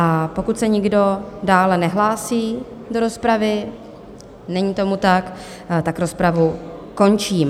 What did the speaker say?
A pokud se nikdo dále nehlásí do rozpravy - není tomu tak - tak rozpravu končím.